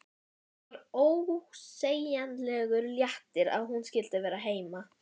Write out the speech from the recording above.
Það var ósegjanlegur léttir að hún skyldi vera heima.